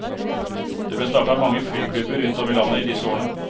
Det ble startet mange flyklubber rundt om i landet i disse årene.